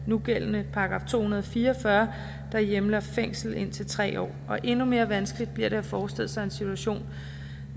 nugældende § to hundrede og fire og fyrre der hjemler fængsel indtil tre år og endnu mere vanskeligt bliver det at forestille sig en situation